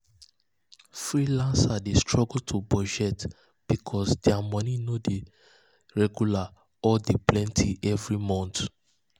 freelancers dey struggle to budget because dia moni no dia moni no dey regular or dey plenty every mont.